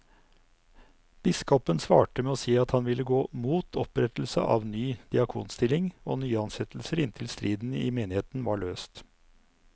Biskopen svarte med å si at han ville gå mot opprettelse av ny diakonstilling og nyansettelser inntil striden i menigheten var løst.